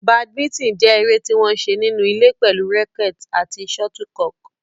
Badminton jẹ́ eré tí wọ́n ń ṣe nínú ilé pẹ̀lú àwọn rackets àti shuttlecock.